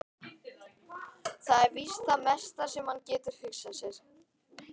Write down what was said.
Það er víst það mesta sem hann getur hugsað sér.